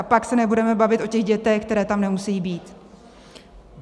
A pak se nebudeme bavit o těch dětech, které tam nemusí být.